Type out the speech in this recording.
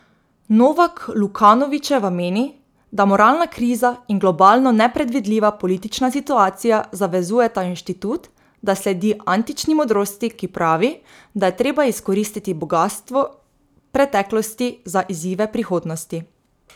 Novak Lukanovičeva meni, da moralna kriza in globalno nepredvidljiva politična situacija zavezujeta inštitut, da sledi antični modrosti, ki pravi, da je treba izkoristiti bogastvo preteklosti za izzive prihodnosti.